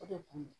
O de kun ye